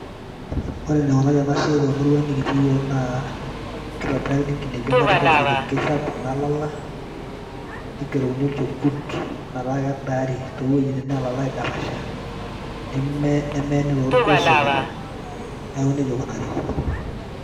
ore nikunari enasiaai temuruang' naa kitobirakini enkineji emuatata nigerokini olchekut, pee edaari too wejitin neitosha, nemeeni too irgoso.